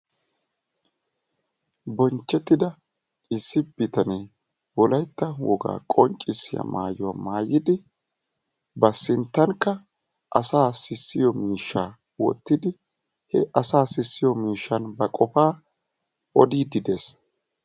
Bonchchetida issi bitanee Wolaytta woga qonccissiya maayyuwaa maayyidi ba sinttankka asa sissiyo miishsha wottidi, he asa sissiyo miishshan ba qofaa odiide dees.